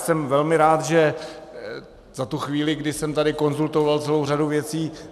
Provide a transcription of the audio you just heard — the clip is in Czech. Jsem velmi rád i za tu chvíli, kdy jsem tady konzultoval celou řadu věcí.